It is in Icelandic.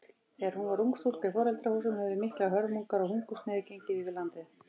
Þegar hún var ung stúlka í foreldrahúsum höfðu miklar hörmungar og hungursneyð gengið yfir landið.